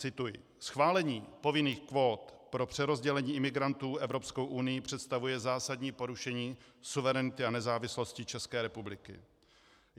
Cituji: Schválení povinných kvót pro přerozdělení imigrantů Evropskou unií představuje zásadní porušení suverenity a nezávislosti České republiky.